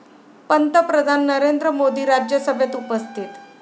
पंतप्रधान नरेंद्र मोदी राज्यसभेत उपस्थित